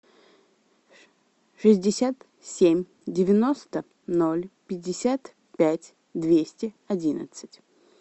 шестьдесят семь девяносто ноль пятьдесят пять двести одиннадцать